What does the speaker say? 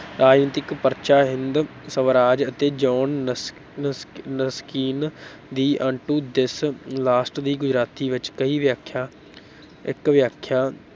ਰਾਜਨੀਤਿਕ ਪਰਚਾ ਹਿੰਦ ਸਵਰਾਜ, ਅਤੇ ਜੌਨ ਨਸ ਨਸ ਰਸਕਿਨ ਦੀ into this last ਦੀ ਗੁਜਰਾਤੀ ਵਿੱਚ ਕਈ ਵਿਆਖਿਆ ਇੱਕ ਵਿਆਖਿਆ।